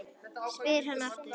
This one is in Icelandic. spyr hann aftur.